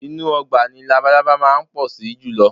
Inú ọgbà ni labalábá máa ń pọ̀ sí jùlọ